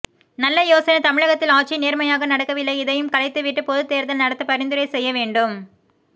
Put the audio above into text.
நல்ல யோசனை தமிழகத்தில் ஆட்சியின் நேர்மையாக நடக்கவில்லை இதையும் கலைத்துவிட்டு பொது தேர்தல் நடத்த பரிந்துரை செய்ய வேண்டும்